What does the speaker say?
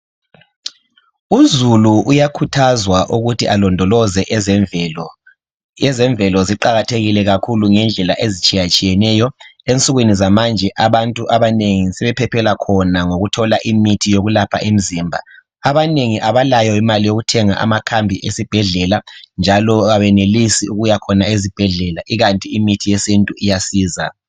Uzulu uyakhuthazwa ukuthi alondoloze ezemvele, ezemvelo ziqakathekile kakhulu ngendlela ezitshiyatshiyeneyo ensukwini zalamhklanje abantu sebephephela khona ngokuthola imithi eyelapha imzimba abanengi abalayo imalai yokuthenga amakhambi esibhedlela njalo abenelisi ukuya khona ezibhedlela ikanti imithi yesintu iyasiza.